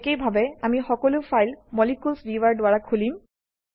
একেইভাবে আমি সকলো ফাইল মলিকিউলছ ভিউৱাৰ দ্বাৰা খুলিম